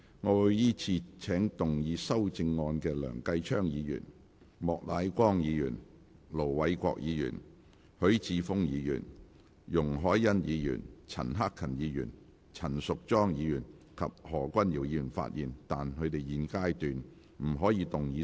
我會依次請要動議修正案的梁繼昌議員、莫乃光議員、盧偉國議員、許智峯議員、容海恩議員、陳克勤議員、陳淑莊議員及何君堯議員發言，但他們在現階段不可動議修正案。